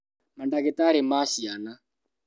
Mandagĩtarĩ ma ciana